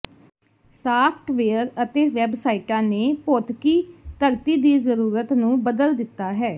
software ਅਤੇ ਵੈੱਬਸਾਇਟਾਂ ਨੇ ਭੌਤਿਕੀ ਧਰਤੀ ਦੀ ਜ਼ਰੂਰਤ ਨੂੰ ਬਦਲ ਦਿੱਤਾ ਹੈ